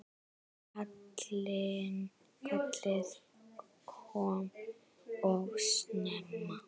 Kallið kom of snemma.